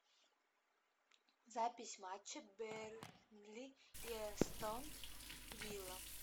запись матча бернли и эстон вилла